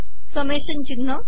summation िचनह